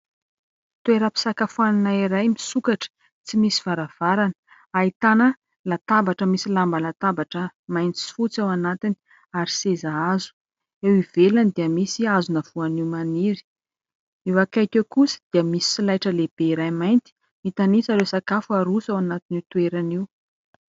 Toeram-pisakafoanana iray misokatra, tsy misy varavarana. Ahitana latabatra misy lamba latabatra mainty sy fotsy ao anatiny ary seza hazo. Eo ivelany dia misy hazona voanio maniry. Eo akaiky eo kosa dia misy solaitra lehibe iray mainty mitanisa ireo sakafo aroso ao anatin'io toerana io.